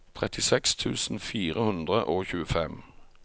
trettiseks tusen fire hundre og tjuefem